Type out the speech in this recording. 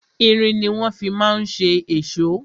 Irin ni wọ́n fi ma ń ṣe èṣó.